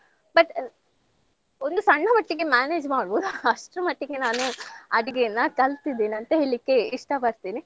But ಒಂದು ಸಣ್ಣ ಮಟ್ಟಿಗೆ manage ಮಾಡ್ಬೋದು ಅಷ್ಟ್ರ ಮಟ್ಟಿಗೆ ನಾನು ಅಡ್ಗೆಯೆಲ್ಲ ಕಲ್ತಿದ್ದೇನೆ ಅಂತ ಹೇಳಿಕ್ಕೆ ಇಷ್ಟಪಡ್ತೀನಿ.